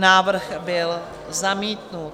Návrh byl zamítnut.